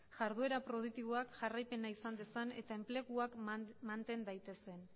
jarduera produktiboak jarraipena izan dezan eta enpleguak manten daitezen